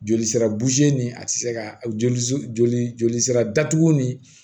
Joli sira nin a ti se ka joli joli jolisira datugu nin